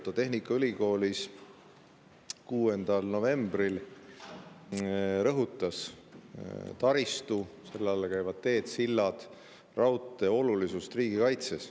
Ta rõhutas tehnikaülikoolis 6. novembril taristu – selle alla käivad teed, sillad, raudtee – olulisust riigikaitses.